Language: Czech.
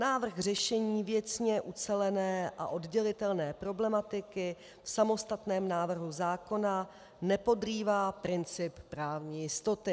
Návrh řešení věcně ucelené a oddělitelné problematiky v samostatném návrhu zákona nepodrývá princip právní jistoty.